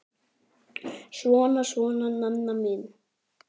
Svona, svona, Nanna mín.